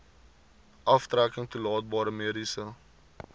aftrekking toelaatbare mediese